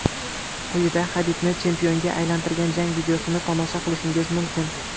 Quyida Xabibni chempionga aylantirgan jang videosini tomosha qilishingiz mumkin.